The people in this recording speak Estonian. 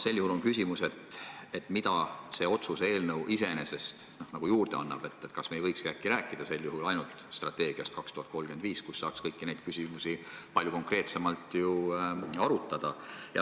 Sel juhul on küsimus, mida see otsuse eelnõu nagu juurde annab, kas me ei võikski äkki rääkida sel juhul ainult strateegiast "Eesti 2035", kus saaks kõiki neid küsimusi palju konkreetsemalt arutada.